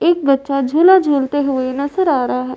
एक बच्चा झूला झूलते हुए नजर आ रहा है।